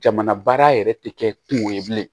Jamana baara yɛrɛ tɛ kɛ kungo ye bilen